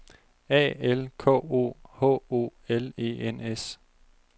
A L K O H O L E N S